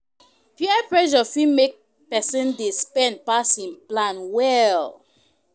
Peer pressure fit make pesin dey spend pass him plan well.